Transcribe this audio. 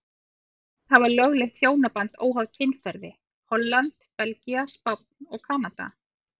Fjögur lönd hafa lögleitt hjónaband óháð kynferði, Holland, Belgía, Spánn og Kanada.